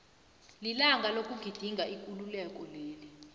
lilanga lokugidinga ikululeko leli